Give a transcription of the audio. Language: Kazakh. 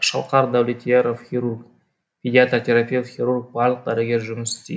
шалқар дәулетияров хирург педиатр терапевт хирург барлық дәрігер жұмыс істейд